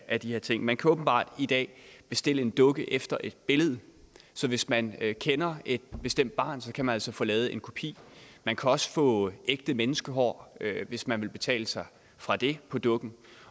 af de her ting man kan åbenbart i dag bestille en dukke efter et billede så hvis man kender et bestemt barn kan man altså få lavet en kopi man kan også få ægte menneskehår hvis man vil betale sig fra det på dukken